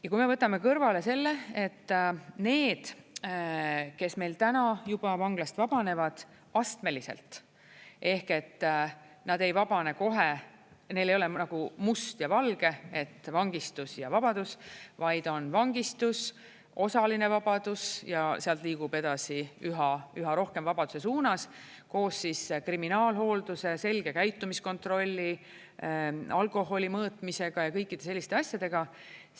Ja kui me võtame kõrvale selle, et need, kes meil täna juba vanglast vabanevad astmeliselt ehk et nad ei vabane kohe ja neil ei ole must ja valge, et vangistus ja vabadus, vaid on vangistus, osaline vabadus, ja sealt liigub edasi üha rohkem vabaduse suunas, koos kriminaalhoolduse, selge käitumiskontrolli, alkoholi mõõtmisega ja kõikide selliste asjadega.